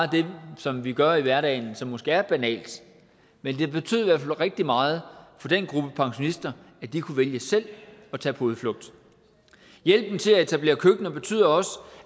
det som vi gør i hverdagen som måske er banalt men det betød rigtig meget for den gruppe pensionister at de kunne vælge selv at tage på udflugt hjælpen til at etablere køkkener betyder også